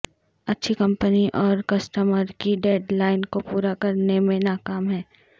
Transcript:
اچھی کمپنی اور کسٹمر کی ڈیڈ لائن کو پورا کرنے میں ناکام ہے